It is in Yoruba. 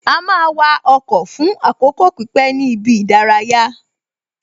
A máa wa ọkọ̀ fún àkókò pípé ní ibi ìdárayá